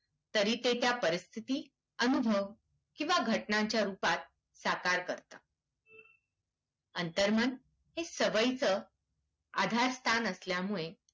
तरी ते त्या परिस्थितीत अनुभव किंवा घटनांच्या रूपात साकार करतं. अंतर्मन हे सवयींचं आधारस्थान असल्यामुळे